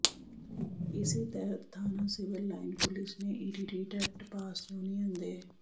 ਇਸੇ ਤਹਿਤ ਥਾਣਾ ਸਿਵਲ ਲਾਇਨ ਪੁਲਿਸ ਨੇ ਈਟੀਟੀ ਟੈੱਟ ਪਾਸ ਯੂਨੀਅਨ ਦੇ